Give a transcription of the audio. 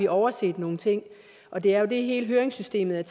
overset nogle ting og det er jo det som hele høringssystemet